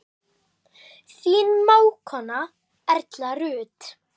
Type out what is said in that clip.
Þín mágkona Erla Rut.